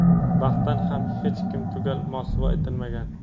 baxtdan ham hech kim tugal mosuvo etilmagan.